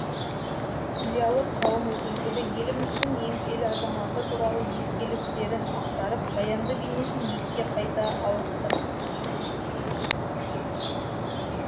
зиялы қауым өкілдері еліміздің еңселі азаматы туралы естеліктерін ақтарып баянды бейнесін еске қайта алысты